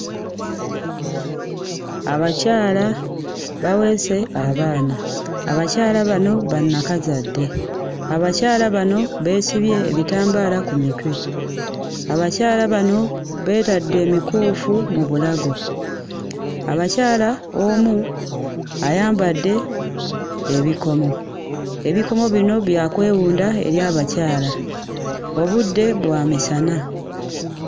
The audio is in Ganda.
Abakyala baweese abaana. Abakyala bano bannakazadde. Abakyala bano beesibye ebitambaala ku mitwe. Abakyala bano beetadde emikuufu mu bulago. Abakyala omu ayambadde ebikomo; ebikomo bino bya kwewunda eri abakyala. Obudde bwa misana.